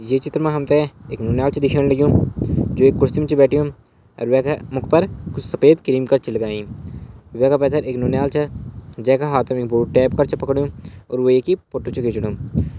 ये चित्र मा हमथै एक नुन्याल च दिखेण लग्युं जु एक कुर्सी म च बैठ्यु अर वेका मुख पर कुछ सफ़ेद क्रीम का च लगयीं वैका पैथर एक नुनियाल च जैका हाथम एक बोर्ड टैप कर च पकडियू अर वेकी पोट्टू च खिचणु।